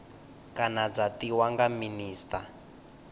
kana dza tiwa nga minista